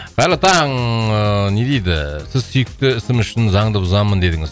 қайырлы таң ыыы не дейді сіз сүйікті ісім үшін заңды бұзамын дедіңіз